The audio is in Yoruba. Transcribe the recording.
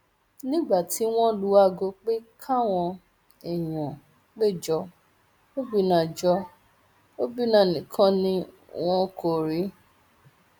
nígbà tí wọn lu aago pé káwọn èèyàn pé jọ obìnnà jọ obìnnà nìkan ni wọn kò rí